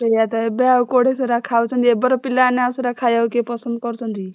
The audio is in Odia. ସେୟାତ ଏବେ ଆଉ କୁଆଡେ ସେଟା ଖାଉଛନ୍ତି ଏବେର ପିଲାମାନେ ଆଉସେଟା ଖାଇବାକୁ କେହି ପସନ୍ଦ କରୁଛନ୍ତି କି?